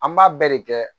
An b'a bɛɛ de kɛ